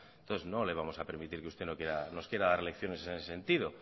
entonces no le vamos a permitir que usted nos quiera dar lecciones en ese sentido